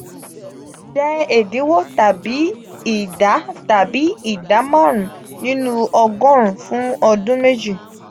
je edinwo tabi ida tabi ida marun ninu ogorun fun odun meji.